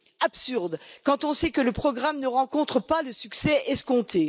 Absurde, quand on sait que le programme ne rencontre pas le succès escompté!